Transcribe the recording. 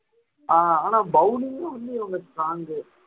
ஆஹ் ஆனா bowling ல வந்து இவங்க strong